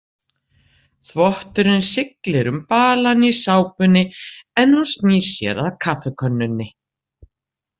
Þvotturinn siglir um balann í sápunni en hún snýr sér að kaffikönnunni.